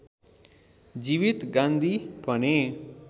जीवित गान्धी भन्ने